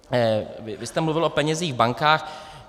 Vy jste mluvil o penězích, o bankách.